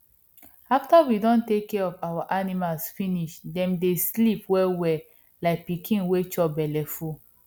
after we don take care of our animals finish dem dey sleep wellwell like pikin wey chop belleful